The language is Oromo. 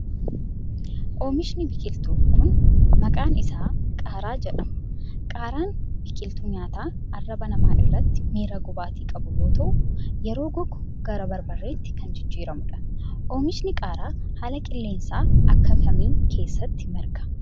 Oomishni biqiltuu kun, maqaan isaa qaaraa jedhama. Qaaraan biqiltuu nyaataa arraba namaa irratti miira gubaatii qabu yoo ta'u, yeroo gogu gara barbarreetti kan jijjiiramuu dha. Oomishni qaaraa haala qilleensa akka kamii keessatti marga?